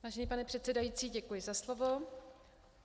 Vážený pane předsedající, děkuji za slovo.